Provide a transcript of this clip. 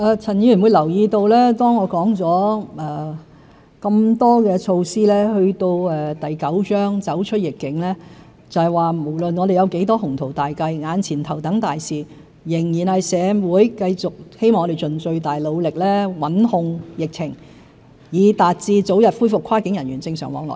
陳議員會留意到，當我說了這麼多措施，到第九章"走出疫境"，就是說無論我們有多少雄圖大計，眼前頭等大事仍然是令社會繼續如我們希望，盡最大努力穩控疫情，以達致早日恢復跨境人員正常往來。